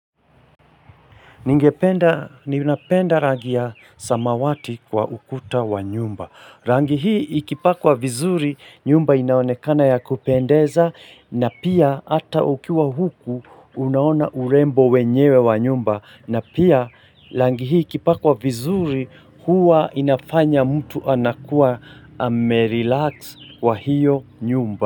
Ningependa ninapenda rangi ya samawati kwa ukuta wa nyumba. Rangi hii ikipakwa vizuri nyumba inaonekana ya kupendeza na pia ata ukiwa huku unaona urembo wenyewe wa nyumba. Na pia rangi hii ikipakwa vizuri huwa inafanya mtu anakuwa ame relax kwa hiyo nyumba.